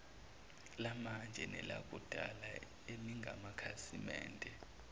lamanje nelakudala elingamakhasimende